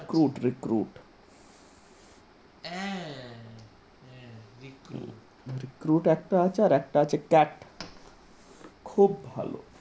Recruit recruit, এ recruit recruit একটা আছে আর একটা আছে cat খুব ভালো ।